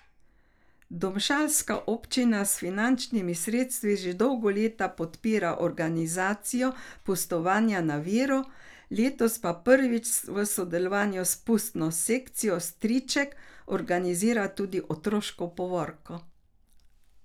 Domžalska občina s finančnimi sredstvi že dolga leta podpira organizacijo pustovanja na Viru, letos pa prvič v sodelovanju s Pustno sekcijo Striček organizira tudi otroško povorko.